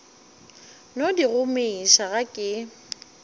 no di gomiša ga ke